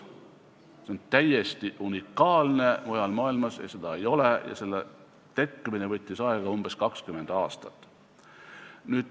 See on täiesti unikaalne, mujal maailmas seda ei ole ja selle tekkimine võttis aega umbes 20 aastat.